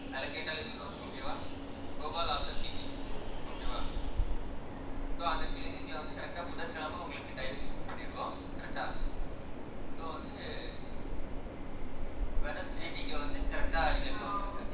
அதுல கேட்டாலே சொல்லுவாங்க okay வா கோபாலன் அசன் கிளினிக் okay வா so அந்த clinic ல வந்து correct ஆ புதன்கிழமை உங்களுக்கு time fix பண்ணியிருக்கோம் correct ஆ so வந்து wednesday நீங்க வந்து correct ஆ நீங்க அங்க வந்துருங்க